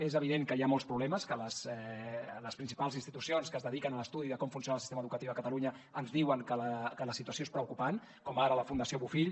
és evident que hi ha molts problemes que les principals institucions que es dediquen a l’estudi de com funciona el sistema educatiu a catalunya ens diuen que la situació és preocupant com ara la fundació bofill